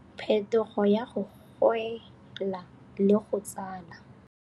Phethogo ya go gwela le go tsala.